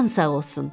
Atam sağ olsun.